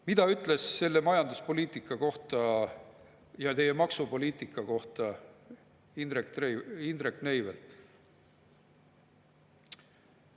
Mida ütles selle majanduspoliitika kohta ja teie maksupoliitika kohta Indrek Neivelt?